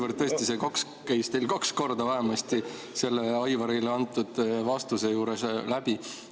Kuna tõesti see "kaks" käis teil kaks korda vähemasti selle Aivarile antud vastuse juures läbi.